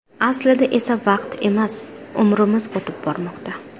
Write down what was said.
Aslida esa vaqt emas, umrimiz o‘tib bormoqda.